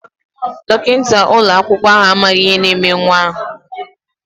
Dọkịta ụlọakwụkwọ ahụ amaghị ihe na-eme nwa ahụ.